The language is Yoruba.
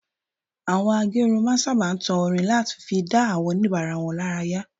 Àwọn a gé irun máa ń sábà tan orin láti fi dá àwọn oníbàárà wọn lára yá